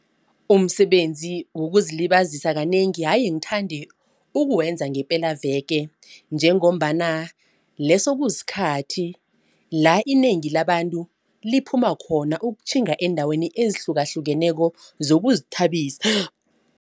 Umsebenzi wokuzilibazisa kanengi haye ngithande ukwenza ngepelaveke. Njengombana leso kusikhathi la inengi labantu liphuma khona ukutjhinga eendaweni ezihlukahlukeneko zokuzithabisa